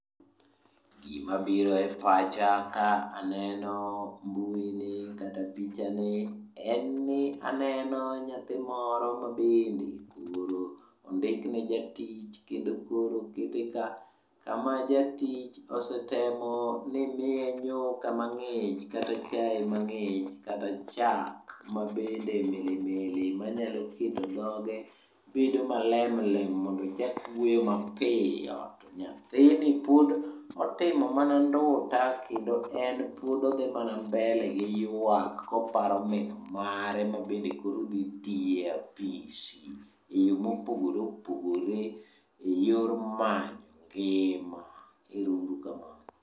Gimabiro e pacha ka aneno mbui ni kata picha ni en ni aneno nyathi moro mabende ondikne jatich kendo koro okete ka. Kama jatich osetemo ni miye nyuka mang'ich kata chae mang'ich kata chak mabende milimili, manyalo keto dhoge bedo malemlem mondo ochak wuoyo mapiyo. To nyathini pod otimo manonduta kendo en pod odhi mana mbele gi ywak koparo min mare ma bende koro odhi tiye e apisi e yo mopogore opogore e yor manyo ngima. Ero uru kamano.